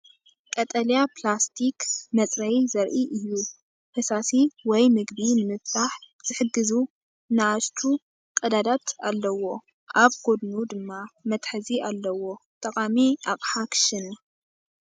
ቀጠልያ ፕላስቲክ መጽረዪ ዘርኢ እዩ። ፈሳሲ ወይ መግቢ ንምፍታሕ ዝሕግዙ ንኣሽቱ ቀዳዳት ኣለዎ፣ ኣብ ጎድኑ ድማ መትሓዚ ኣለዎ። ጠቓሚ ኣቕሓ ክሽነ!